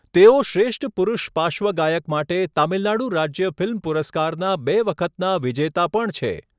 તેઓ શ્રેષ્ઠ પુરુષ પાર્શ્વગાયક માટે તમિલનાડુ રાજ્ય ફિલ્મ પુરસ્કારના બે વખતના વિજેતા પણ છે.